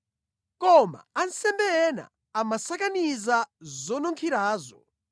Koma ansembe ena amasakaniza zonunkhirazo.